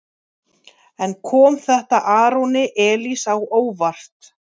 En kom þetta Aroni Elís á óvart?